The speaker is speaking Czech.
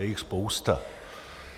Je jich spousta.